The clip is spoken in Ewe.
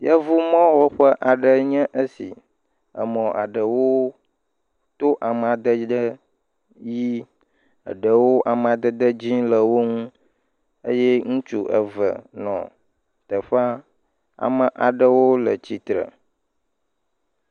Yevumɔwɔƒe aɖe nye esi, emɔ aɖewo to amadede ʋi, eɖewo amadede dzɔ̃ le wo ŋu eye ŋutsu eve nɔ teƒea, ame aɖewo le tsitre